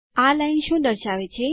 આ લાઈન શું દર્શાવે છે